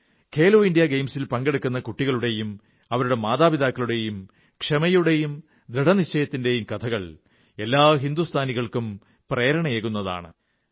Khelo India ഗെയിംസിൽ പങ്കെടുക്കുന്ന കുട്ടികളുടെയും അവരുടെ മാതാപിതാക്കളുടെയും ക്ഷമയുടെയും ദൃഢനിശ്ചയത്തിന്റെയും കഥകൾ എല്ലാ ഹിന്ദുസ്ഥാനികൾക്കും പ്രേരണയേകുന്നതാണ്